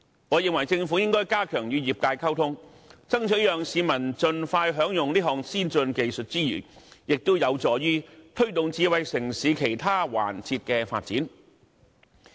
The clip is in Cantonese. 我認為政府應該加強與業界溝通，在爭取讓市民盡快享用此項先進技術之餘，亦有助推動智慧城市其他環節的發展。